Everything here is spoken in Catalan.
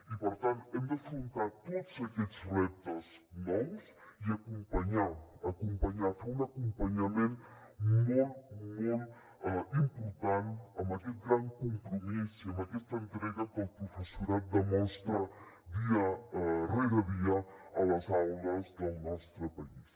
i per tant hem d’afrontar tots aquests reptes nous i acompanyar acompanyar fer un acompanyament molt molt important amb aquest gran compromís i amb aquesta entrega que el professorat demostra dia rere dia a les aules del nostre país